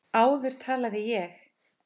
Áður talaði ég.